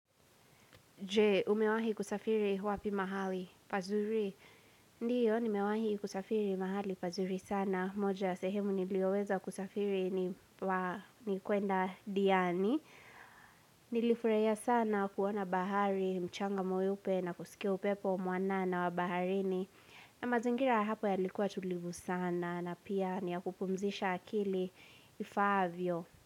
Je, umewahi kusafiri wapi mahali pazuri. Ndiyo, nimewahi kusafiri mahali pazuri sana. Moja ya sehemu nilioweza kusafiri ni kuenda diani. Nilifurahia sana kuona bahari, mchanga mweupe na kusikia upepo mwanana wa baharini. Na mazingira ya hapo yalikuwa tulivu sana na pia ni ya kupumzisha akili ifaavyo.